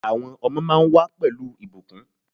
Àwọn ọmọ máa ń wà pẹ̀lú ìbùkún.